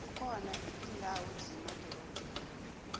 kukhona indawo zemadorobheni